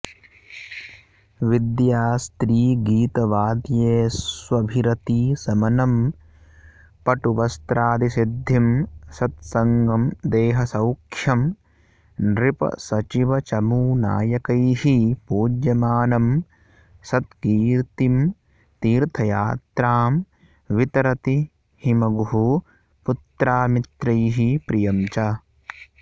विद्यास्त्रीगीतवाद्येष्वभिरतिशमनं पटुवस्त्रादिसिद्धिं सत्सङ्गं देहसौख्यं नृपसचिवचमूनायकैः पूज्यमानम् सत्कीर्तिं तीर्थयात्रां वितरति हिमगुः पुत्रामित्रैः प्रियं च